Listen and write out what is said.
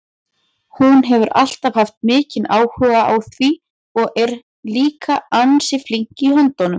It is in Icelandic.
Hún hefur alltaf haft mikinn áhuga á því og er líka ansi flink í höndunum.